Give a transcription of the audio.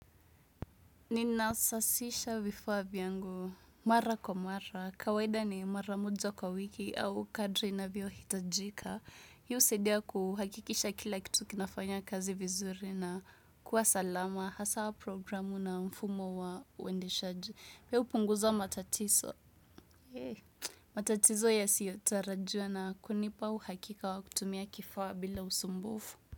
Ninasasisha vifaa vyangu mara kwa mara, kawaida ni mara moja kwa wiki au kadri inavyohitajika. Hii husaidia kuhakikisha kila kitu kinafanya kazi vizuri na kuwa salama, hasaa programu na mfumo wa uendeshaji. Pia hupunguza matatizo. Matatizo yasiyotarajiwa na kunipa uhakika wa kutumia kifaa bila usumbufu.